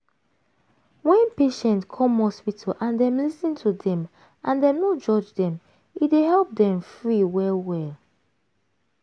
wen patient come hospital and dem lis ten to dem and dem no judge dem e dey help dem free well well.